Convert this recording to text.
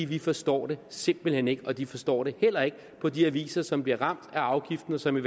vi forstår det simpelt hen ikke og de forstår det heller ikke på de aviser som bliver ramt af afgiften og som i